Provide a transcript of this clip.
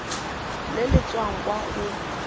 le le tswang kwa go